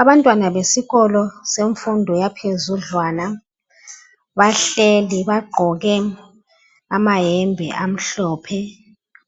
Abantwana besikolo senfundo yaphezudlwana ,bahleli bagqoke amahembe amhlophe.